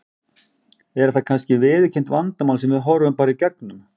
Er það kannski viðurkennt vandamál sem við horfum bara í gegnum?